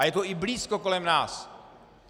A je to i blízko kolem nás.